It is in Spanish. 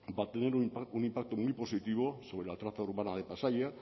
va a tener un impacto muy positivo sobre la traza urbana de pasaia